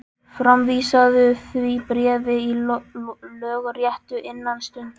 Framvísaðu því bréfi í lögréttu innan stundar.